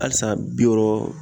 Halisa bi wɔɔrɔ